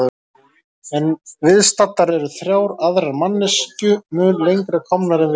En viðstaddar eru þrjár aðrar manneskju mun lengra komnar en við.